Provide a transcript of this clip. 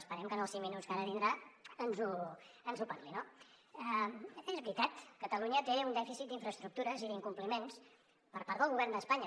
esperem que en els cinc minuts que ara tindrà ens en parli no és veritat catalunya té un dèficit d’infraestructures i d’incompliments per part del govern d’espanya